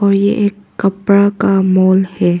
और ये एक कपड़ा का मॉल है।